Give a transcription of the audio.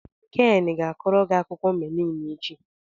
Ken ga-akọrọ gị akụkọ meliin echi.